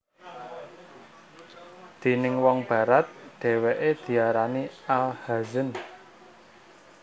Déning wong Barat dheweke diarani Al Hazen